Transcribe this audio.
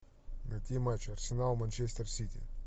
найти матч арсенал манчестер сити